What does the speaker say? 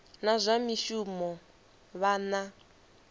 na zwa mishumo vha na